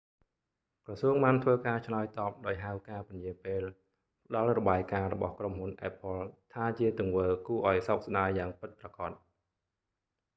ក្រសួងបានធ្វើការឆ្លើយតបដោយហៅការពន្យារពេលផ្ដល់របាយការណ៍របស់ក្រុមហ៊ុន apple ថាជា ទង្វើគួរឲ្យសោកស្ដាយយ៉ាងពិតប្រាកដ